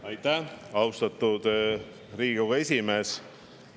Aitäh, austatud Riigikogu esimees!